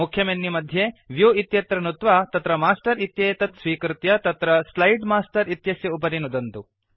मुख्यमेनुमध्ये view इत्यत्र नुत्वा तत्र मास्टर् इत्येतत् स्वीकृत्य तत्र स्लाइड् मास्टर् इत्यस्य उपरि नुदन्तु